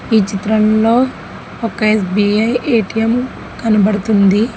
ఈ చిత్రంలో ఒక ఎ_స్బి_ఐ ఎ_టి_ఎం కనబడుతుంది.